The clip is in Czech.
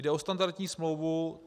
Jde o standardní smlouvu.